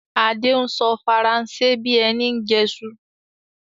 Adé ń sọ Faransé bí ẹni ń jẹsu